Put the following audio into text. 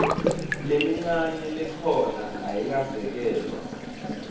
lemincane lekhona ayikasekelwa